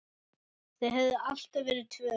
Þau höfðu alltaf verið tvö.